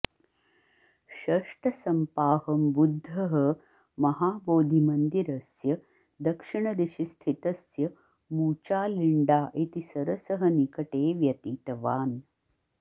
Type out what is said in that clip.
षष्टसम्पाहं बुद्धः महाबोधिमन्दिरस्य दक्षिणदिशिस्थितस्य मूचालिण्डा इति सरसः निकटे व्यतीतवान्